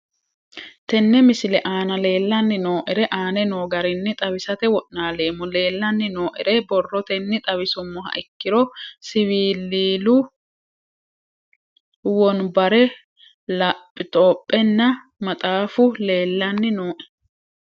Tene misile aana leelanni nooerre aane noo garinni xawisate wonaaleemmo. Leelanni nooerre borrotenni xawisummoha ikkiro siwiillilu wonbarre laptopenna maxaafu leelanni nooe.